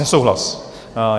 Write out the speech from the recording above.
Nesouhlas.